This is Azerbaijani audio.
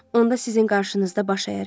Onda sizin qarşınızda baş əyərəm.